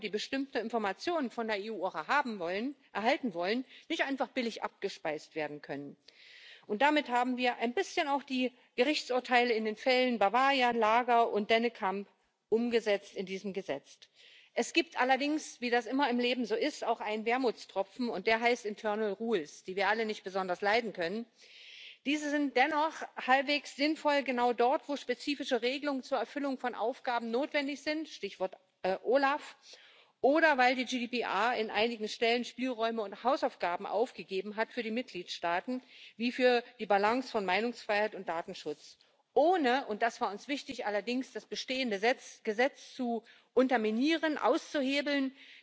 The European Data Protection Supervisor will now have the possibility to impose a pecuniary fine on a Union institution, body, office or agency, which is an unprecedented power in EU law. Finally, a word on the issue of scope, which has been the subject of many discussions. The Commission welcomes the balanced result, which has been reached after intense negotiations. The Commission has always called for a coherent data protection regime for all institutions, bodies, offices and agencies to avoid unnecessary fragmentation. At the same time, the specific nature of the